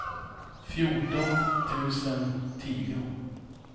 fjorton tusen tio